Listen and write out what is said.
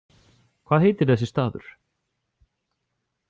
Hvað heitir þessi staður?